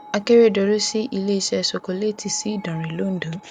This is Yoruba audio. akérèdọlù sí iléeṣẹ sokoléètì sí ìdánrẹ londo